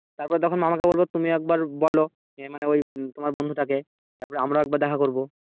তারপর তখন মামাকে বলবো তুমি একবার বলো এ মানে ওই তোমার বন্ধুটাকে তারপর আমরা দেখা করবো।